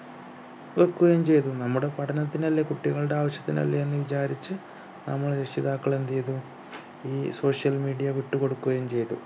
വെക്കുകയും ചെയ്തു നമ്മുടെ പഠനത്തിനല്ലേ കുട്ടികളുടെ ആവശ്യത്തിനല്ലേ എന്ന് വിചാരിച്ച് നമ്മൾ രക്ഷിതാക്കളെന്ത് ചെയ്തു ഈ social media വിട്ടുകൊടുക്കുകയും ചെയ്തു